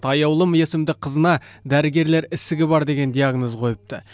аяулым есімді қызына дәрігерлер ісігі бар деген диагноз қойыпты